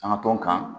An ka tɔn kan